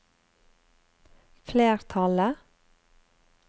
flertallet